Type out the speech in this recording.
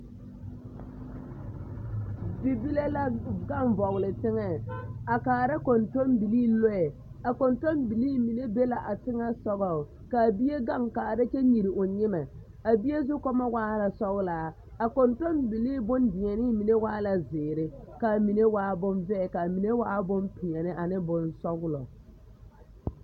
Bibile la gaŋ vɔgele teŋɛŋ a kaara kɔntɔmbilii lɔɛ, a kɔntɔmbilii mine be la a teŋɛsoŋɔŋ k'a bie gaŋ kaara kyɛ nyere o nyemɛ, a bie zukɔmɔ waa la sɔgelaa, a kɔntɔmbilii bondeɛnee waa la zeere k'a mine waa bonvɛɛ k'a mine waa bonpeɛne ane bonsɔgelɔ.